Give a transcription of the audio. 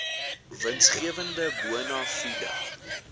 winsgewende bona fide